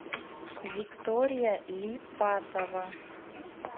виктория липатова